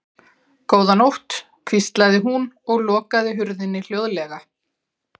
Góða nótt, hvíslaði hún og lokaði hurðinni hljóðlega.